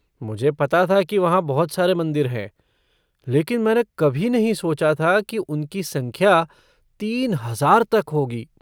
मुझे पता था कि वहाँ बहुत सारे मंदिर हैं लेकिन मैंने कभी नहीं सोचा था कि उनकी संख्या तीन हजार तक होगी।